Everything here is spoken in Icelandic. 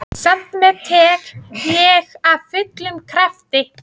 Samt meðtek ég af fullum krafti.